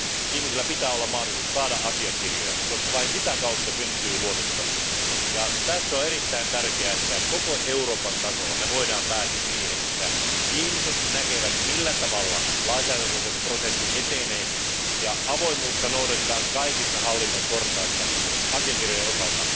Ihmisillä pitää olla mahdollisuus saada asiakirjoja, koska vain sitä kautta syntyy luottamus, ja tässä on erittäin tärkeää, että voimme koko Euroopan tasolla päästä siihen, että ihmiset näkevät, miten lainsäädäntöprosessi etenee, ja avoimuutta noudatetaan kaikissa hallinnon portaissa asiakirjojen osalta.